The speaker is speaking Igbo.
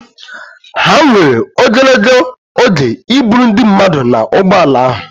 Ha were ogologo oge iburu ndi mmadu na ụgbọ ala ahụ.